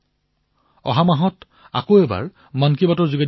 পুনৰবাৰ অহা মাহত মন কী বাতত পুনৰ লগ পাম